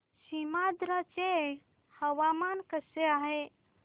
सीमांध्र चे हवामान कसे आहे